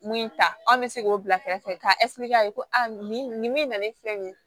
Mun ta anw bɛ se k'o bila kɛrɛfɛ k'a k'a ye ko nin nin nin min nalen filɛ nin ye